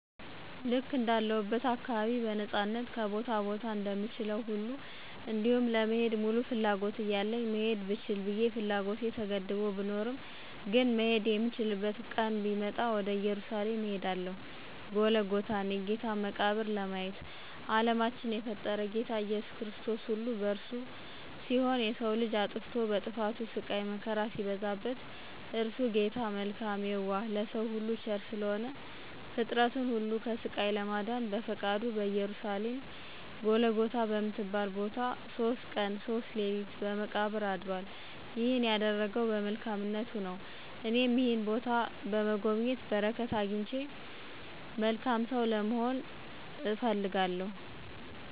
ልክ እንዳለሁበት አካባቢ በነፃነት ከቦታ ቦታ እንደምችለዉ ሁሉ እንዲሁም ለመሄድ ሙሉ ፍላጎት እያለኝ መሄድ ልችል ብየ ፍላጎቴ ተገድቦ ብኖርም ግን "መሄድ የምችልበት ቀን ቢመጣ" ወደ እየሩሳሌም እሄዳለሁ"ጎልጎታን የጌታን መቃብር "ለማየት። አለማትን የፈጠረ "ጌታ ኢየሱስ ክርስቶስ"ሁሉ የእርሱ ሲሆን የሰዉ ልጅ አጥፍቶ በጥፋቱ ስቃይ መከራ ሲበዛበት <እርሱ ጌታ መልካም የዋህ ለሰዉ ሁሉ ቸር ስለሆነ>ፍጥረትን ሁሉ ከስቃይ ለማዳን በፈቃዱ በኢየሩሳሌም ጎልጎታ በምትባል ቦታ"ሶስት ቀን ሶስት ሌሊት በመቃብር "አድራል። ይህንን ያደረገዉ በመልካምነቱ ነዉ። እኔም ይህንን ቦታ በመጎብኘት በረከት አግኝቼ መልካም ሰዉ ለመሆን።